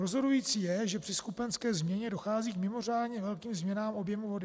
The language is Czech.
Rozhodující je, že při skupenské změně dochází k mimořádně velkým změnám objemu vody.